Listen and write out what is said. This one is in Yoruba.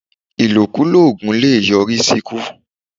Ìlokulò oògùn le è yọ rí sí ikú